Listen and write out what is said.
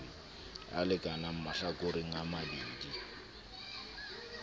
a lekanang mahlakoreng a mabedi